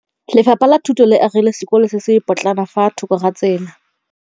Lefapha la Thuto le agile sekôlô se se pôtlana fa thoko ga tsela.